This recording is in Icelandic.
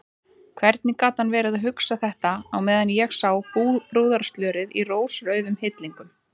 Hvernig gat hann verið að hugsa þetta á meðan ég sá brúðarslörið í rósrauðum hillingum!